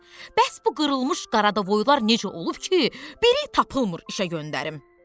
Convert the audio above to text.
Bəs bu qırılmış Qaradavoylar necə olub ki, biri tapılmır işə göndərim?